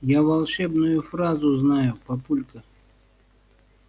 я волшебную фразу знаю папулька